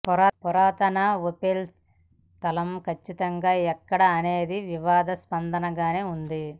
పురాతన ఓఫెల్ స్థలం కచ్చితంగా ఎక్కడ అనేది వివాదాస్పదం గానే ఉంది